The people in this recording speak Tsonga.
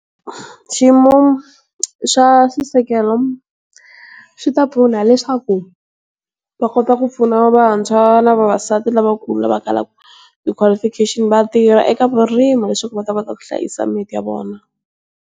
Xiyimo swa xisekelo swi ta pfuna leswaku va kota ku pfuna vantshwa na vavasati lava kula va kalaka ti qualification vatirha eka vurimi leswaku va ta va ka ku hlayisa mimiti ya vona